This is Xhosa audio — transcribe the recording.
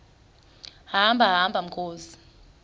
hamba hamba mkhozi